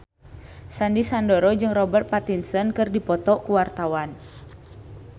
Sandy Sandoro jeung Robert Pattinson keur dipoto ku wartawan